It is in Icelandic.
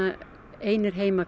einir heima